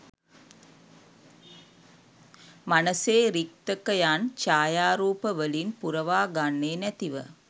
මනසේ රික්තකයන් ඡායාරූපවලින් පුරවාගන්නේ නැතිව